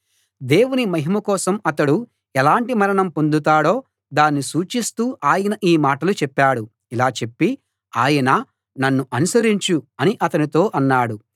దేవుని మహిమ కోసం అతడు ఎలాంటి మరణం పొందుతాడో దాన్ని సూచిస్తూ ఆయన ఈ మాటలు చెప్పాడు ఇలా చెప్పి ఆయన నన్ను అనుసరించు అని అతనితో అన్నాడు